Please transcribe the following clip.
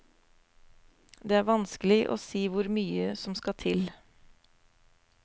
Det er vanskelig å si hvor mye som skal til.